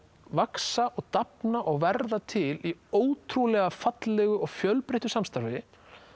vaxa og dafna og verða til í ótrúlega fallegu og fjölbreyttu samstarfi